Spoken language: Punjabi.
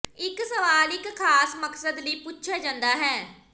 ਇੱਕ ਸਵਾਲ ਇੱਕ ਖਾਸ ਮਕਸਦ ਲਈ ਪੁੱਛਿਆ ਜਾਂਦਾ ਹੈ